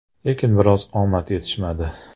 Lekin biroz omad yetishmadi.